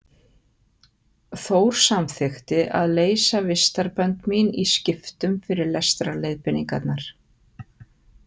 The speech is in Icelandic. Þór samþykkti að leysa vistarbönd mín í skiptum fyrir lestrarleiðbeiningarnar.